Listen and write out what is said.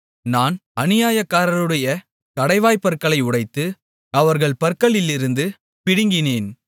நான் அநியாயக்காரருடைய கடைவாய்ப் பற்களை உடைத்து அவர்கள் பறித்ததை அவர்கள் பற்களிலிருந்து பிடுங்கினேன்